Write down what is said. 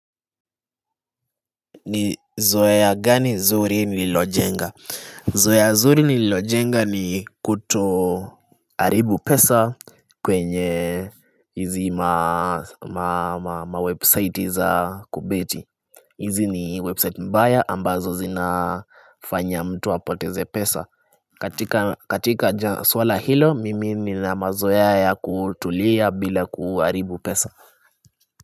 Zoea gani zuri nililojenga? Zoea zuri nililojenga ni kutoharibu pesa kwenye hizi mawebsite za kubeti hizi ni website mbaya ambazo zinafanya mtu apoteze pesa. Katika swala hilo mimi ni na mazoea ya kutulia bila kuharibu pesa.